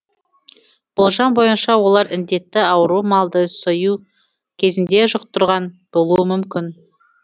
болжам бойынша олар індетті ауру малды сою кезінде жұқтырған болуы мүмкін